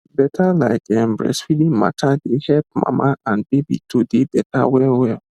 better like ehm breastfeeding mata dey hep mama and baby to dey better well well